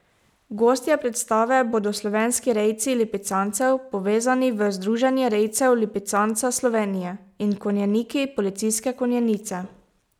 Gostje predstave bodo slovenski rejci lipicancev, povezani v Združenje rejcev lipicanca Slovenje, in konjeniki policijske konjenice.